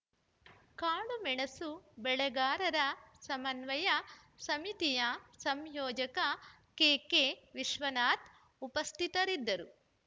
ಕಾಳು ಮೆಣಸು ಬೆಳೆಗಾರರ ಸಮನ್ವಯ ಸಮಿತಿಯ ಸಂಯೋಜಕ ಕೆಕೆ ವಿಶ್ವನಾಥ್‌ ಉಪಸ್ಥಿತರಿದ್ದರು